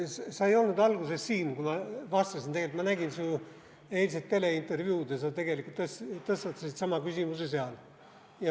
Sa ei olnud alguses siin, kui ma vastasin, et ma nägin su eilset teleintervjuud ja sa tegelikult tõstatasid seal sama küsimuse.